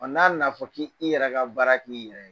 Ɔ n'a nana fɔ k'i yɛrɛ ka baara k'i yɛrɛ ye.